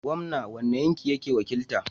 Gomna wani yanki yake wakilta?